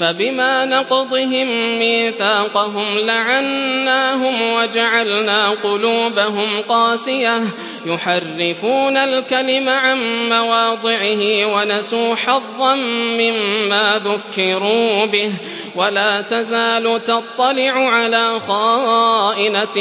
فَبِمَا نَقْضِهِم مِّيثَاقَهُمْ لَعَنَّاهُمْ وَجَعَلْنَا قُلُوبَهُمْ قَاسِيَةً ۖ يُحَرِّفُونَ الْكَلِمَ عَن مَّوَاضِعِهِ ۙ وَنَسُوا حَظًّا مِّمَّا ذُكِّرُوا بِهِ ۚ وَلَا تَزَالُ تَطَّلِعُ عَلَىٰ خَائِنَةٍ